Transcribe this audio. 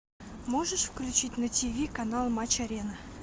можешь включить на ти ви канал матч арена